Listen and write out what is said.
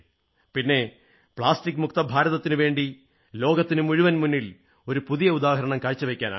പിന്നെ പ്ലാസ്റ്റിക് മുക്ത ഭാരതത്തിന് ലോകത്തിനുമുഴുവൻ മുന്നിൽ ഒരു പുതിയ ഉദാഹരണം കാഴ്ചവയ്ക്കാനാകും